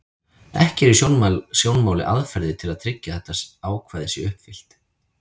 Ekki eru í sjónmáli aðferðir til að tryggja að þetta ákvæði sé uppfyllt.